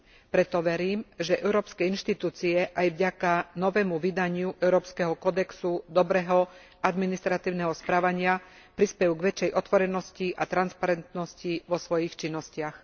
Preto verím, že európske inštitúcie aj vďaka novému vydaniu európskeho kódexu dobrého administratívneho správania prispejú k väčšej otvorenosti a transparentnosti vo svojich činnostiach.